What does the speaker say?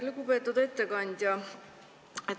Lugupeetud ettekandja!